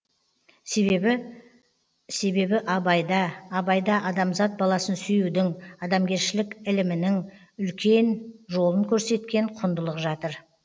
себебі себебі абайда абайда адамзат баласын сүюдің адамгершілік ілімінің үлкен жолын көрсеткен құндылық жатыр